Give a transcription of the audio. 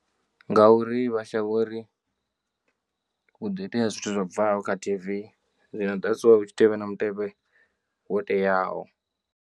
Ngauri vha shavha uri huḓo itea zwithu zwo bvaho kha T_V zwino that's why hu tshi tea uvha na mutevhe wo teaho.